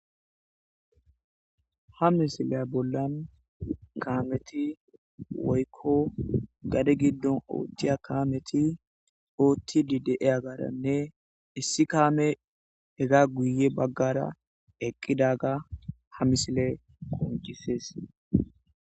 Ha misiley bollan kaameti woykko gade giddon oothtiya kaameti ootti didee agaranne issi kaame hega guye baggara eqqidaga ha misile qoncises.